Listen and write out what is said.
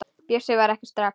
Bjössi svarar ekki strax.